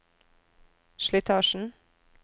slitasjen